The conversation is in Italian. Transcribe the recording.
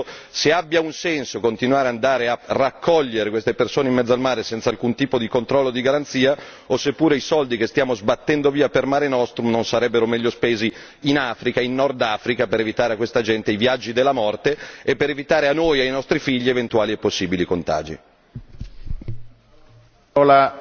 Il problema non è solo italiano, il problema è europeo, quindi vi chiedo se abbia un senso continuare ad andare a raccogliere queste persone in mezzo al mare senza alcun tipo di controllo, di garanzia o se pure i soldi che stiamo sbattendo via per Mare Nostrum non sarebbero meglio spesi in Africa, in Nord Africa per evitare a questa gente i viaggi della morte e per evitare a noi e ai nostri figli eventuali e possibili contagi.